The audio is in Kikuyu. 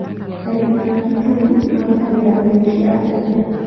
Arĩmi a Kitui mahũthagĩra mbegũ cia mbembe.